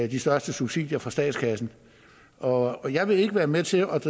de største subsidier fra statskassen og jeg vil ikke være med til at